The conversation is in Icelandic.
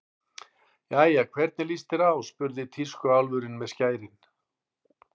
Jæja, hvernig líst þér á spurði tískuálfurinn með skærin.